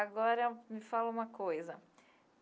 Agora, me fala uma coisa.